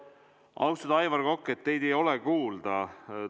Austatud Aivar Kokk, teid ei ole kuulda!